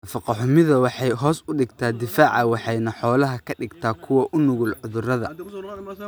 Nafaqo xumida waxay hoos u dhigtaa difaaca waxayna xoolaha ka dhigtaa kuwo u nugul cudurada.